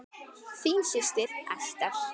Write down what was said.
Þín systir, Ester.